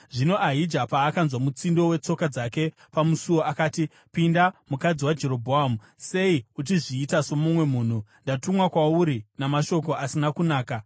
Zvino Ahija paakanzwa mutsindo wetsoka dzake pamusuo, akati, “Pinda, mukadzi waJerobhoamu. Sei uchizviita somumwe munhu? Ndatumwa kwauri namashoko asina kunaka.